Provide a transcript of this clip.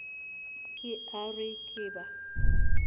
ke a re ke ba